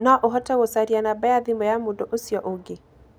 No ũhote gũcaria namba ya thimũ ya mũndũ ũcio ũngĩ.